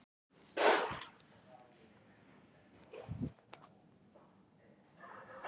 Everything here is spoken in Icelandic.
Þau voru efst fyrir mótið.